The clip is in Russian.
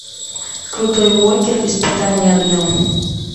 крутой уокер испытание огнем